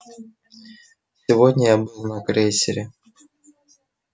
сегодня я был на крейсере